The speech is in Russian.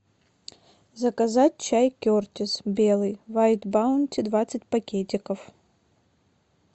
заказать чай кертис белый вайт баунти двадцать пакетиков